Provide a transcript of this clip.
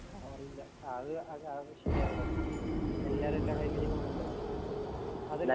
പവറില്ല അത് ആഹ് അത് ശരിയാവൊടോ എല്ലാരും